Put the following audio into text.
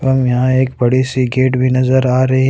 हम यहां एक बड़ी सी गेट भी नजर आ रही है।